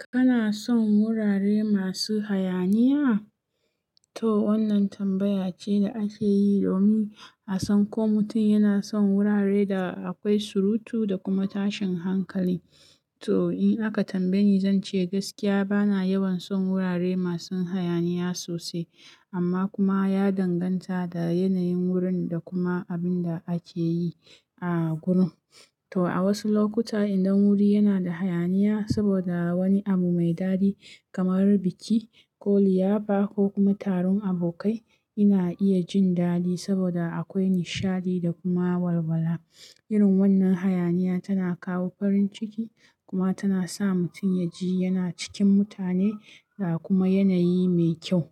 Kana son wurare masu hayaniya? To wannan tambaya ce da ake yi domin a san ko mutum yana son wurare da akwai surutu da kuma tashin hankali. To in aka tambaye ni, zan ce gaskiya bana yawan son wurare masu hayaniya sosai, amma kuma ya danganta da yanayin wurin da kuma abin da ake yi a gurin. To a wasu lokuta, idan wuri yana da hayaniya saboda wani abu mai dadi kamar biki ko liyafa ko kuma taron abokai, ina iya jin daɗi saboda akwai nishaɗi da kuma walwala. Irin wannan hayaniya tana kawo farin ciki kuma tana sa mutum ya ji yana cikin mutane da kuma yanayi mai kyau.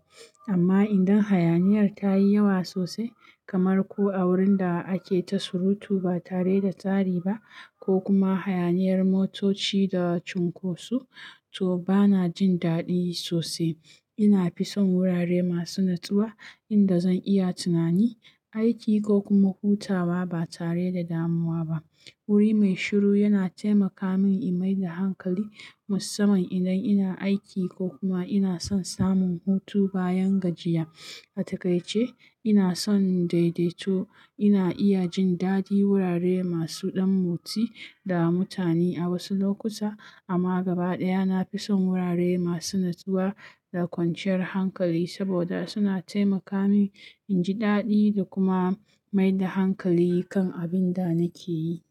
Amma idan hayaniyar ta yi yawa sosai, kamar ko a wurin da ake ta surutu ba tare da tsari ba ko kuma hayaniyar motoci da cunkosu, to bana jin daɗi sosai. Ina fi son wurare masu natsuwa inda zan iya tunani, aiki ko kuma hutawa ba tare da damuwa ba. Wuri mai shiru yana taimaka min in maida hankali musamman idan ina aiki ko kuma ina son samun hutu bayan gajiya. A takai ce, ina son daidaito. Ina iya jin daɗi wurare masu ɗan motsi da mutane a wasu lokuta, amma gaba ɗaya na fi son wurare masu natsuwa da kwanciyar hankali saboda suna taimaka min in ji daɗi da kuma maida hankali kan abin da nake yi.